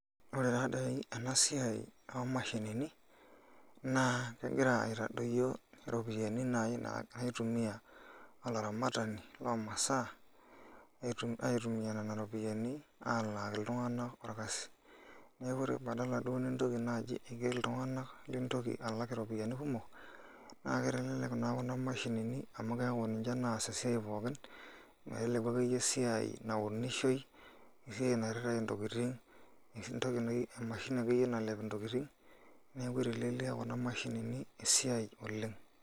Ore taadoi enasia omashinini nakegira aitadoyio ropiyani na kaitumia olaramatani lomasaa aitumia nona ropiyani alaaki ltunganak Orkarsis, neaku ore badala duo nintoki naji aiger ltunganak lintoki nai alak iropiyiani kumok na keitelelek na kunamashinini amu ninche naas esiai pookin meteleku akeyie esiai naunishoi ,esiai nairirae ntokitin ashu emashini ake yienalep ntokitin, neaku itelelia kuna mashinini esiai oleng.